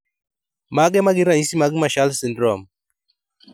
Mage magin ranyisi mag Marshall syndrome